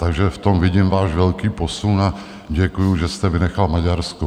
Takže v tom vidím váš velký posun a děkuju, že jste vynechal Maďarsko.